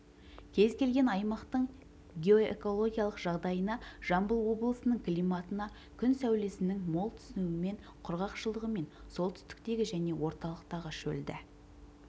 кез-келген аймақтың геоэкологиялық жағдайына жамбыл облысының климатына күн сәулесінің мол түсуімен құрғақшылығымен солтүстіктегі және орталықтағы шөлді